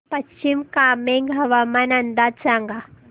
पश्चिम कामेंग हवामान अंदाज सांगा